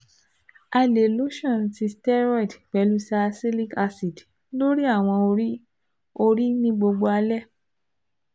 A le lotion ti steroid pẹlu salicylic acid lori awọ ori ori ni gbogbo alẹ